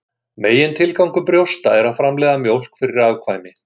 Megintilgangur brjósta er að framleiða mjólk fyrir afkvæmi.